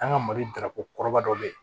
An ka mali dako kɔrɔba dɔ bɛ ye